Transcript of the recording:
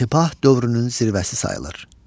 İntibah dövrünün zirvəsi sayılır.